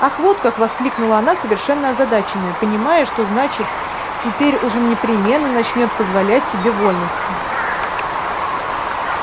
ах вот как воскликнула она совершенно озадаченная понимая что значит теперь уж он непременно начнёт позволять себе вольности